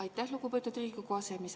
Aitäh, lugupeetud Riigikogu aseesimees!